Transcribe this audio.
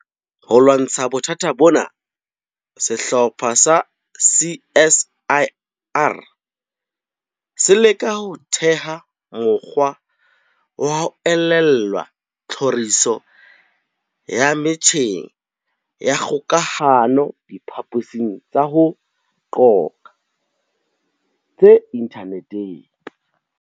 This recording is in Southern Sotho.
Ho lwantsha bothata bona, sehlopha sa CSIR se leka ho theha mokgwa wa ho elellwa tlhoriso ya metjheng ya kgokahano diphaposing tsa ho qoqa tse inthaneteng.